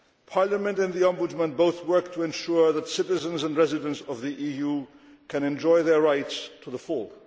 Parliament and the Ombudsman both work to ensure that citizens and residents of the EU can enjoy their rights to the full.